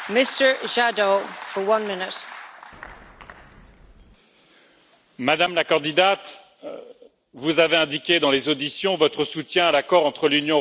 Madame la Présidente, Madame la candidate, vous avez indiqué dans les auditions votre soutien à l'accord entre l'Union européenne et le Mercosur.